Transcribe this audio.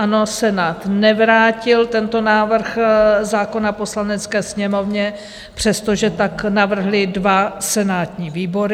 Ano, Senát nevrátil tento návrh zákona Poslanecké sněmovně, přestože tak navrhly dva senátní výbory.